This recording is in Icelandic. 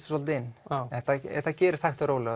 svolítið inn þetta gerist hægt og rólega